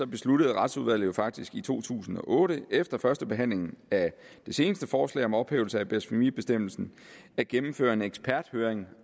besluttede retsudvalget faktisk i to tusind og otte efter førstebehandlingen af det seneste forslag om ophævelse af blasfemibestemmelsen at gennemføre en eksperthøring